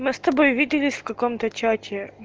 мы с тобой виделись в каком-то чате